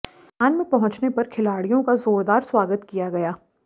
संस्थान में पहुंचने पर खिलाडिय़ों का जारदार स्वागत किया गया